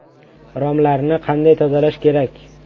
Romlarni qanday tozalash kerak?